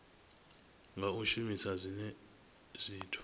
nga u shumisa zwinwe zwithu